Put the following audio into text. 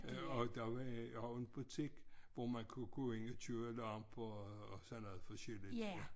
Øh og der var også en butik hvor man kunne gå ind og købe lamper og sådan noget forskelligt ja